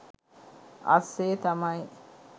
අස්සෙ තමයි